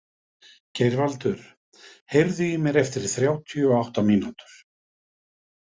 Geirvaldur, heyrðu í mér eftir þrjátíu og átta mínútur.